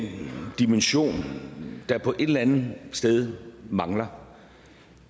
dimension der et eller andet sted mangler